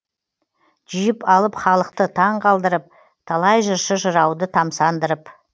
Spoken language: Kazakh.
жиып алып халықты таңқалдырып талай жыршы жырауды тамсандырып